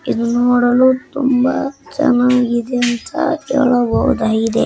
ಇದು ನೋಡಲು ತುಂಬಾ ಚೆನ್ನಾಗಿದೆ ಅಂತ ಹೇಳಬಹುದಾಗಿದೆ.